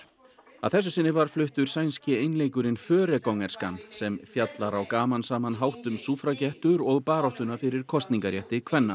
að þessu sinni var fluttur sænski einleikurinn sem fjallar á gamansaman hátt um súffragettur og baráttuna fyrir kosningarétti kvenna